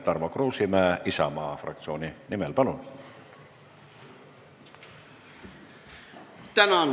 Tarmo Kruusimäe Isamaa fraktsiooni nimel, palun!